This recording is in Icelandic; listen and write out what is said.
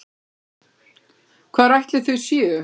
Hvar ætli þau séu?